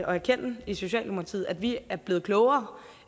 og erkende i socialdemokratiet at vi er blevet klogere